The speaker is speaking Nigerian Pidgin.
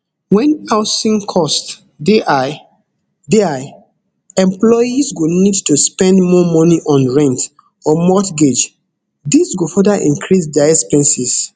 wen housing costs dey high dey high employees go need to spend more money on rent or mortgage dis go further increase dia expenses